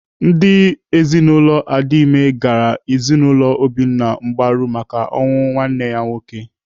Ndị ezinaụlọ Adima gara ezinaụlọ Obinna mgbaru maka ọnwụ nwanne ya nwoke.